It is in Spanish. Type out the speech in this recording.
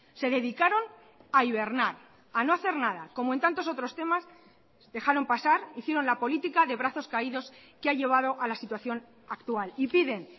se dedicaron a hibernar a no hacer nada como en tantos otros temas dejaron pasar hicieron la política de brazos caídos que ha llevado a la situación actual y piden